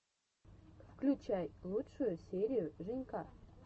включай лучшую серию женька